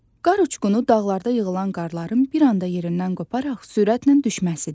Qar uçqunu dağlarda yığılan qarların bir anda yerindən qoparaq sürətlə düşməsidir.